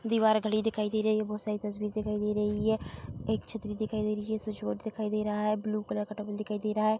दीवार खड़ी दिखाई दे रही है बहुत सारी तस्वीर दिखाई दे रही है एक छतरी दिखाई दे रही है स्विच बोर्ड दिखाई दे रहा है ब्लू कलर का टॉवल दिखाई दे रहा है।